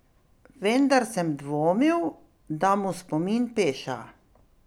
Vendar sem dvomil, da mu spomin peša.